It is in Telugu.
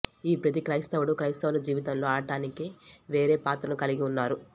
ఈ ప్రతీ క్రైస్తవుడు క్రైస్తవుల జీవితంలో ఆడటానికి వేరే పాత్రను కలిగి ఉన్నారు